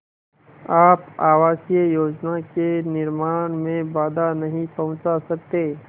आप आवासीय योजना के निर्माण में बाधा नहीं पहुँचा सकते